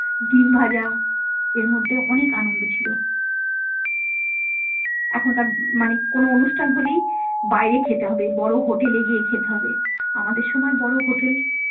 ডিম ভাজা এর মধ্যে অনেক আনন্দ ছিল এখনকার মানে কোনো অনুষ্ঠান হলেই বাইরে খেতে হবে বড়ো হোটেলে গিয়ে খেতে হবে আমাদের সময় বড়ো হোটেল।